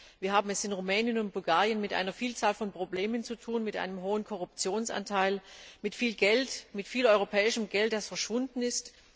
Wir haben es in Rumänien und Bulgarien mit einer Vielzahl von Problemen zu tun, mit einem großen Korruptionsanteil, mit viel Geld, mit viel europäischem Geld, das verschwunden ist.